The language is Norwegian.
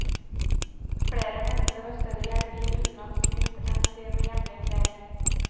Flere mente det var større hjelp i utenlandsk mynt enn de med hjemlig preg.